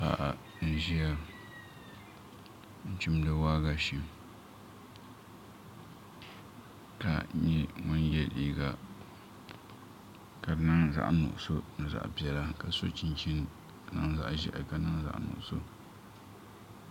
Paɣa n ʒiya n chimdi waagashe ka nyɛ ŋun yɛ liiga ka di niŋ zaɣ nuɣuso ni zaɣ piɛla ka so chinchini ka di niŋ zaɣ ʒiɛhi ni zaɣ nuɣso